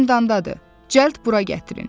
O zindandadır, cəld bura gətirin.